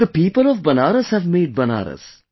The people of Banaras have made Banaras